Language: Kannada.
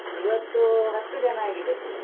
ಇವತ್ತೂ ಹತ್ತು ಜನ ಆಗಿದೆ.